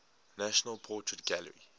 national portrait gallery